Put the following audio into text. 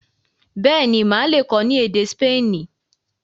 béèni Má le kọ ní èdè Spani.